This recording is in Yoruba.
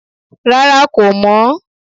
Rárá kò mọ̀ ọ́